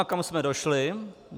A kam jsme došli?